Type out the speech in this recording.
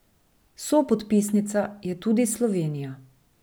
Sopodpisnica je tudi Slovenija.